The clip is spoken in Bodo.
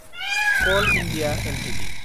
call India Ltd